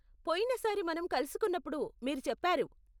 పొయిన సారి మనం కలుసుకున్నప్పుడు మీరు చెప్పారు.